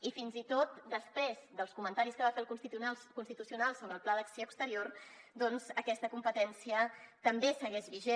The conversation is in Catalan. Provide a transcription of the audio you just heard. i fins i tot després dels comentaris que va fer el constitucional sobre el pla d’acció exterior doncs aquesta competència també segueix vigent